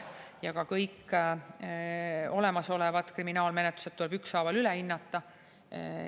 Ja ka kõik olemasolevad kriminaalmenetlused tuleb ükshaaval üle hinnata.